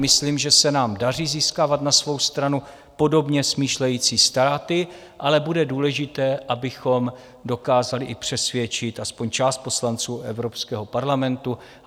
Myslím, že se nám daří získávat na svou stranu podobně smýšlející státy, ale bude důležité, abychom dokázali i přesvědčit aspoň část poslanců Evropského parlamentu.